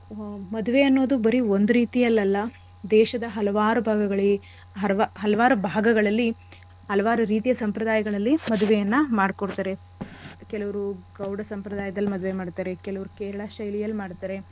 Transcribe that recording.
ಮದ್ವೆ ಅನ್ನೋದು ಬರೀ ಒಂದ್ ರೀತಿಯಲ್ಲಲ್ಲ, ದೇಶದ ಹಲವಾರು ಭಾಗಗಳಲ್ಲಿ ಹಲವಾರು ಭಾಗಗಳಲ್ಲಿ ಹಲವಾರು ರೀತಿಯ ಸಂಪ್ರದಾಯಗಳಲ್ಲಿ ಮದ್ವೆಯನ್ನ ಮಾಡ್ಕೊಡ್ತಾರೆ. ಕೆಲವ್ರು ಗೌಡ ಸಂಪ್ರದಾಯದಲ್ಲಿ ಮದ್ವೆ ಮಾಡ್ತಾರೆ. ಕೆಲವ್ರು ಕೇರಳ ಶೈಲಿಯಲ್ ಮಾಡ್ತಾರೆ.